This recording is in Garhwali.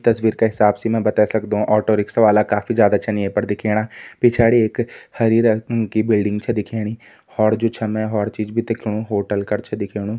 तस्वीर का हिसाब से मैं बते सकदु ऑटो रिक्शा वाला काफी ज्यादा छन ये पर दिखेणा पिछाड़ी एक हरी रंग कि बिल्डिंग छ दिखेणी होर जु छ मैं होर चीज भी दिखणु होटल कर छ दिखेणु।